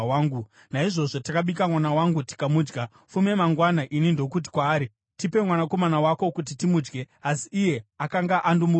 Naizvozvo takabika mwana wangu tikamudya. Fume mangwana, ini ndokuti kwaari, ‘Tipe mwanakomana wako kuti timudye,’ asi iye akanga andomuviga.”